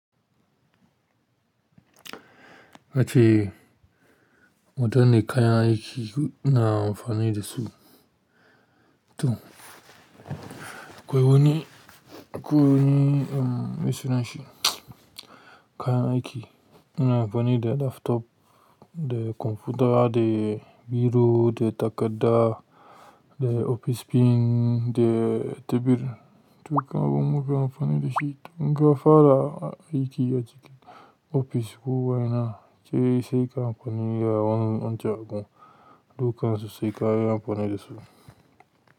Kace wata ne kayan aiki na amfani da su. To, koyo ni, koyo ni, mai sunan shi kayan aiki ina amfani da laptop, da kwamfuta, da biro, da takadda, da opis pin, da tebur, duka abubuwan amfani da shi. In ka fara aiki a cikin ofis kuwa ina, sai kai amfani da wani wani abu. Dukansu sai ka yi amfani da su.